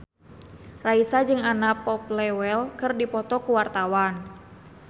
Raisa jeung Anna Popplewell keur dipoto ku wartawan